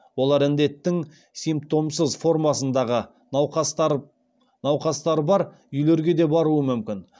олар індеттің сипмтомсыз формасындағы науқастар бар үйлерге де баруы мүмкін